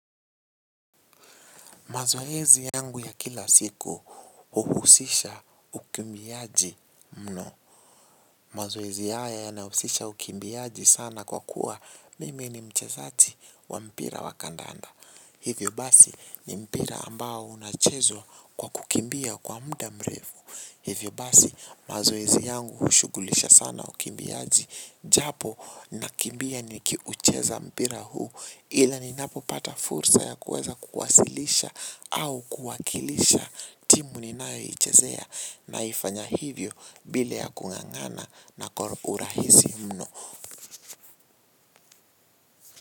Mazoezi yangu ya kila siku uhusisha ukimbiaji mno. Mazoezi haya yanahusisha ukimbiaji sana kwa kuwa mimi ni mchezaji wa mpira wa kandanda. Hivyo basi ni mpira ambao unachezwa kwa kukimbia kwa muda mrefu. Hivyo basi mazoezi yangu hushugulisha sana ukimbiazi japo nakimbia nikiucheza mpira huu ila ninapopata fursa ya kuweza kuwasilisha au kuwakilisha timu ninayoichezea naifanya hivyo bila ya kung'ang'ana na urahisi mno.